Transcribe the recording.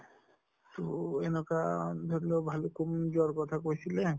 তʼ এনকা ধৰি লওঁক ভালুক পুং যৱাৰ কথা কৈছিলে